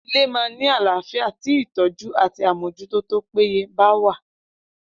Ile ma ni alaafia ti itoju àti àmójútó tó péye bá wà.